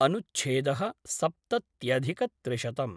अनुच्छेद: सप्तत्यधिकत्रिशतम्